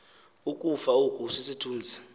ukufa oku sisithunzi